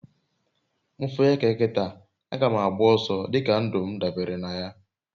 m fu eke kita, aga ma agba oso dika ndum dabere naya